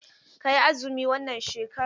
Ka yi azumi wannan shekaran!